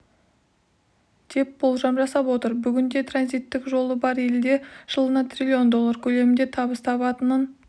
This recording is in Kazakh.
деп болжам жасап отыр бүгінде транзиттік жолы бар елдер жылына трлн доллар көлемінде табыс табатынын